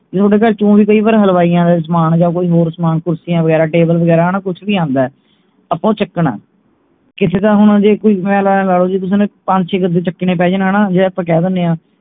ਥੋਡੇ ਘਰ ਓਵੇਂ ਕਈ ਵਾਰ ਹਲਵਾਈਆਂ ਦਾ ਸਾਮਾਨ ਜਾ ਕੋਈ ਹੋਰ ਸਾਮਾਨ ਕੁਰਸੀਆਂ ਵਗੈਰਾ ਟੇਬਲ ਵਗੈਰਾ ਹਣਾ ਕੁਛ ਵੀ ਆਂਦੇ ਆਪਾਂ ਉਹ ਚੁੱਕਣੇ ਕਿਸੇ ਦਾ ਹੁਣ ਜੇ ਕੋਈ ਮੈਂ ਲਾ ਲਓ ਜੇ ਕਿਸੇ ਨੂੰ ਪੰਜ ਛੇ ਗੱਦੇ ਚੁੱਕਣੇ ਪੈ ਜਾਣ ਹਣਾ ਜੇ ਆਪਾਂ ਕਹਿ ਦਿੰਨੇ ਆ